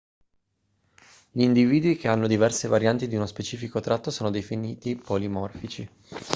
gli individui che hanno diverse varianti di uno specifico tratto sono definiti polimorfici